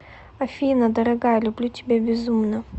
афина дорогая люблю тебя безумно